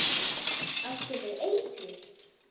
Áttu við eitur.